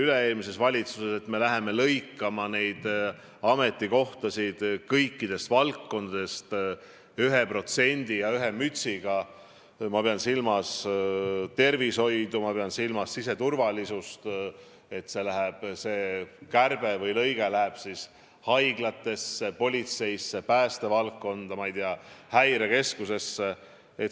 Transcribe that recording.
Üle-eelmises valitsuses seati sihiks, et läheme kärbime ametikohtade arvu kõikides valdkondades 1% ja ühe mütsiga – ma pean silmas tervishoidu, ma pean silmas siseturvalisust, see kärbe pidi tehtama haiglates, politseis, päästevaldkonnas, ma ei tea, häirekeskuses.